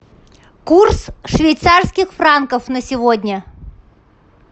курс швейцарских франков на сегодня